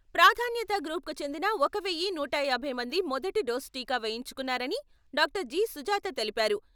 ప్రాధాన్యతా గ్రూప్‌కు చెందిన ఒక వెయ్యి నూట యాభై మంది మొదటి డోస్ టీకా వేయించుకున్నారని, డాక్టర్. జి. సుజాత తెలిపారు.